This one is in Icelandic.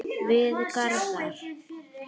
Við Garðar